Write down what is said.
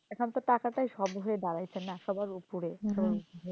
এখন তো টাকাটাই সব হয়ে দাড়াইছে না সবার উপরে